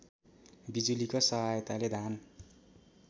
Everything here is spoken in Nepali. बिजुलीको सहायताले धान